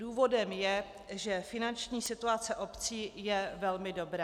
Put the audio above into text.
Důvodem je, že finanční situace obcí je velmi dobrá.